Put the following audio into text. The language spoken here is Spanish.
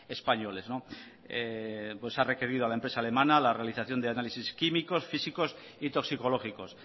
españoles se ha requerido a la empresa alemana la realización de exámenes químicos físicos y toxicológicos